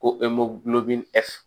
Ko